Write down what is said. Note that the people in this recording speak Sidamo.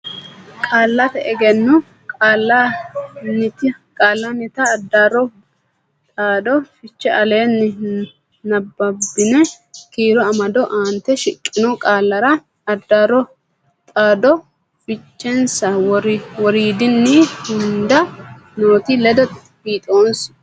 Qaallate Egenno Qaallannita Addaarro Dhaaddo Fiche Aleenni nabbabbini kiiro amado aante shiqqino qaallara addaarro dhaaddo fichensa woriidinni hunda noote ledo fiixoonse.